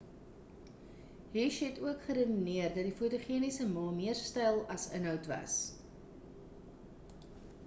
hsieh het ook geredeneer dat die fotogeniese ma meer styl as inhoud was